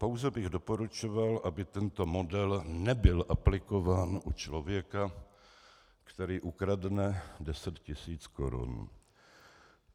Pouze bych doporučoval, aby tento model nebyl aplikován u člověka, který ukradne deset tisíc korun.